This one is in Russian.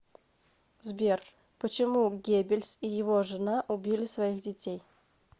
сбер почему геббельс и его жена убили своих детей